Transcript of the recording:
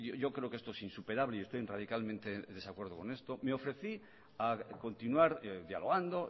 yo creo que esto es insuperable y estoy radicalmente en desacuerdo en esto me ofrecí a continuar dialogando